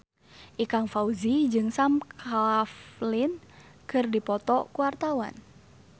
Ikang Fawzi jeung Sam Claflin keur dipoto ku wartawan